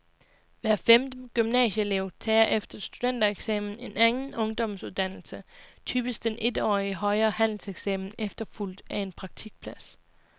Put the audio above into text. Hver femte gymnasieelev tager efter studentereksamen en anden ungdomsuddannelse, typisk den etårige højere handelseksamen efterfulgt af en praktikplads.